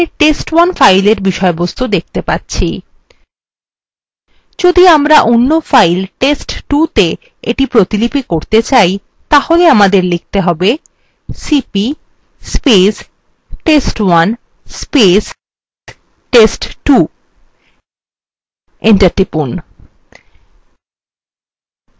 আমরা বর্তমানে test1 fileএর বিষয়বস্তু দেখতে পাচ্ছি যদি আমরা অন্য file test2ত়ে এটি প্রতিলিপি করতে চাই তাহলে আমাদের লিখতে হবে